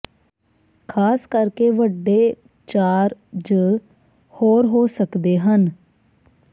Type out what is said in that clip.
ਖ਼ਾਸ ਕਰਕੇ ਵੱਡੇ ਚਾਰ ਜ ਹੋਰ ਹੋ ਸਕਦੇ ਹਨ